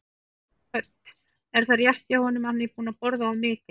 Hödd: Er það rétt hjá honum, er hann búinn að borða of mikið?